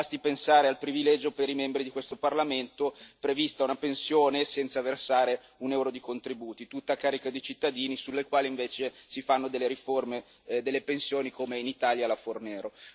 Basti pensare al privilegio dei membri di questo Parlamento è prevista una pensione senza versare un euro di contributi, tutta a carico dei cittadini sulle cui spalle, invece, si fanno delle riforme delle pensioni, come in Italia la riforma Fornero.